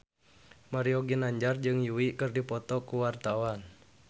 Mario Ginanjar jeung Yui keur dipoto ku wartawan